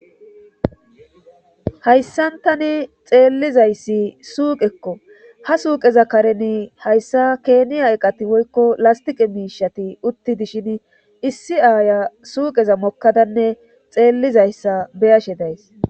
hayssantani xeellizayssi suuqekko ha suuqeza kareni hayssa keeniya eqati woykko lastiqe miishati utti dishin issi aaya suuqeza mokkadanne xeellizayssa beyashe days